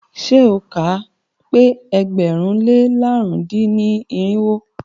Ṣé o kà á pẹ́ ẹgbẹ̀rún lé làrún dín ní irinwó?